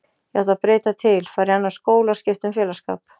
Ég átti að breyta til, fara í annan skóla og skipta um félagsskap.